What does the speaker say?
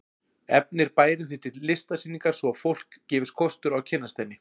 Efnir bærinn því til listsýningar svo að fólki gefist kostur á að kynnast henni.